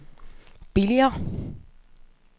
billigere